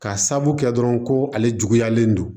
Ka sabu kɛ dɔrɔn ko ale juguyalen don